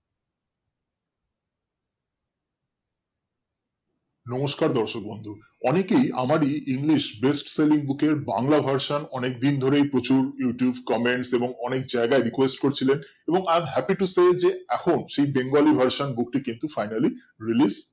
, নমস্কার দর্শক বন্ধু অনেকেই আমার ই english best selling এর বাংলা version অনেক দিনা ধরেই প্রচুর youtube comments এবং অনেক জায়গায় request করছিলেন এবং আজ happy to say যে এখন সেই bengali version book টিকে finally release